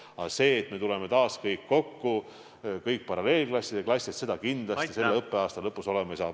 Aga seda, et me tuleme taas kõik kokku, kõik paralleelklassid ja klassid, kindlasti selle õppeaasta lõpus ei tule.